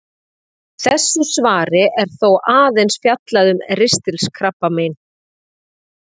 Í þessu svari er þó aðeins fjallað um ristilkrabbamein.